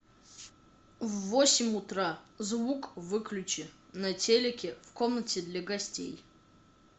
в восемь утра звук выключи на телике в комнате для гостей